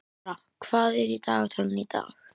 Gurra, hvað er í dagatalinu í dag?